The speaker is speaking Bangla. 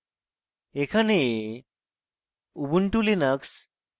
এখানে